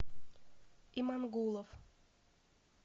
имангулов